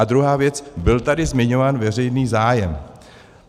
A druhá věc, byl tady zmiňován veřejný zájem.